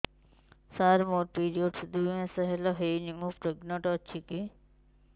ସାର ମୋର ପିରୀଅଡ଼ସ ଦୁଇ ମାସ ହେଲା ହେଇନି ମୁ ପ୍ରେଗନାଂଟ ଅଛି କି